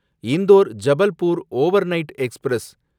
Indore Jabalpur overnight express